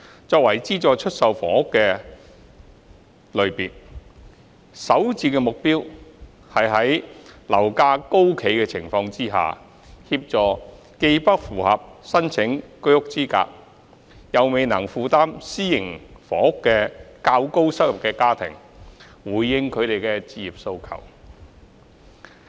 作為資助出售房屋的一個類別，首置的目標是在樓價高企的情況下，協助既不符合申請居屋資格、又未能負擔私營房屋的較高收入家庭，回應他們的置業期望。